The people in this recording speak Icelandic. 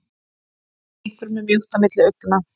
Einhverjum er mjótt á milli augna